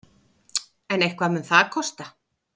En eitthvað mun það kosta.